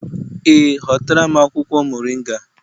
Ee, hotara m akwụkwọ moringa